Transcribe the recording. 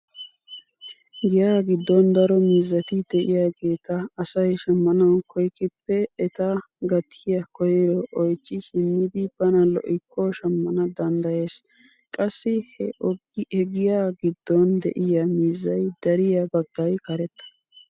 Giyaa giddon daro miizati de'iyaageta asay shammnawu koyikkp eta gatiyaa koyro oychchi simmidi bana lo"ikko shammana danddayees. qassi he giyaa giddon de'iyaa miizzay dariyaa baggay karetta.